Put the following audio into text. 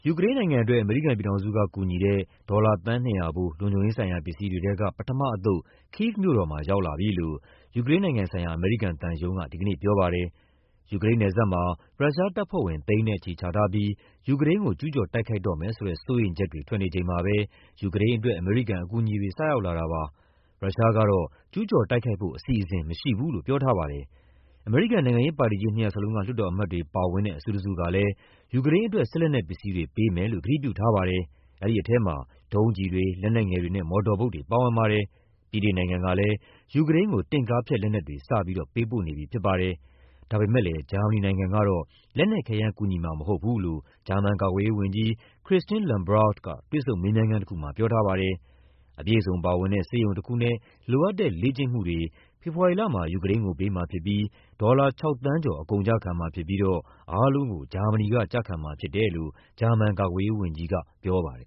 ူကရိန်းနိုင်ငံအတွက် အမေရိကန်ပြည်ထောင်စုက ကူညီတဲ့ ဒေါ်လာသန်း ၂၀၀ ဖိုး လုံခြုံရေးဆိုင်ရာ ပစ္စည်းတွေထဲက ပထမအသုတ် Kyiv မြို့တော်မှာ ရောက်လာပြီလို့ ယူကရိန်းနိုင်ငံဆိုင်ရာ အမေရိကန်သံရုံးက ဒီကနေ့ပြောပါတယ်။ ယူကရိန်းနယ်စပ်မှာ ရုရှားတပ်ဖွဲ့ဝင် သိန်းနဲ့ချီချထားပြီး ယူကရိန်းကို ကျူးကျော် တိုက်ခိုက်တော့မယ်ဆိုတဲ့ စိုးရိမ်ချက်တွေ ထွက်နေချိန်မှာပဲ ယူကရိန်းအတွက် အမေရိကန် အကူအညီတွေ စရောက်လာတာပါ။ ရုရှားကတော့ ကျူးကျော်တိုက်ခိုက်ဖို့ အစီအစဉ် မရှိဘူးလို့ ပြောထားပါတယ်။ အမေရိကန် နိုင်ငံရေးပါတီကြီး နှစ်ရပ်လုံးက လွှတ်တော်အမတ်တွေ ပါဝင်တဲ့ အစုတစုကလည်း ယူကရိန်းအတွက် စစ်လက်နက်ပစ္စည်းတွေ ပေးမယ်လို့ ကတိပြုထားပါတယ်။ အဲဒီထဲမှာ ဒုံးကျည်တွေ၊ လက်နက်ငယ်တွေနဲ့ မော်တော်ဘုတ်တွေ ပါဝင်ပါတယ်။ ဗြိတိန်နိုင်ငံကလည်း ယူကရိန်းကို တင့်ကားဖျက်လက်နက်တွေ စပြီး ပေးပို့နေပြီ ဖြစ်ပါတယ်။ ဒါပေမယ့် ဂျာမနီနိုင်ငံကတော့ လက်နက်ခဲယမ်း ကူညီမှာမဟုတ်ဘူးလို့ ဂျာမန်ကာကွယ်ရေးဝန်ကြီး Christine Lambrecht က တွေ့ဆုံမေးမြန်းခန်းတခုမှာ ပြောထားပါတယ်။ အပြည့်အစုံပါဝင်တဲ့ ဆေးရုံတခုနဲ့ လိုအပ်တဲ့ လေ့ကျင့်မှုတွေ ဖေဖော်ဝါရီလမှာ ယူကရိန်းကို ပေးမှာဖြစ်ပြီး ဒေါ်လာ ၆ သန်းကျော် အကုန်အကျခံမှာ ဖြစ်ပြီးတော့ အားလုံးကို ဂျာမနီက ကျခံမှာဖြစ်တယ်လို့ ဂျာမန် ကာကွယ်ရေးဝန်ကြီးက ပြောပါတယ်